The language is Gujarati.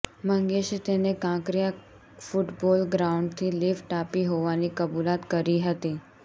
મંગેશે તેને કાંકરિયા ફૂટબોલ ગ્રાઉન્ડથી લિફ્ટ આપી હોવાની કબૂલાત કરી હતી